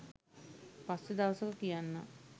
පස්සෙ දවසක කියන්නම්..